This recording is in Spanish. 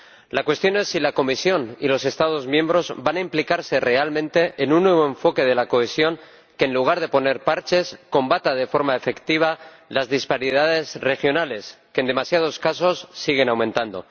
La cuestión es si la Comisión y los Estados miembros van a implicarse realmente en un nuevo enfoque de la cohesión que, en lugar de poner parches, combata de forma efectiva las disparidades regionales, que en demasiados casos siguen aumentando.